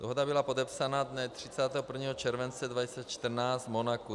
Dohoda byla podepsána dne 31. července 2014 v Monaku.